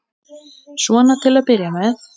Svona til að byrja með.